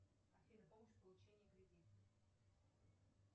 афина помощь в получении кредита